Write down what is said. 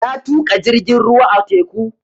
Na tuƙa jirgin ruwa a teku